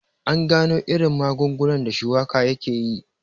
An gano irin magungunan da shuwaka yakeyi